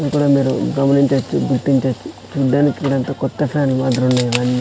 ఇక్కడ మీరు గమనించవచ్చు చూడ్డానికి ఎంతో కొత్తగా .